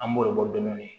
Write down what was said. An b'o de bɔ dɔɔnin